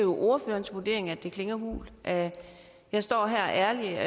ordførerens vurdering at det klinger hult jeg står her ærligt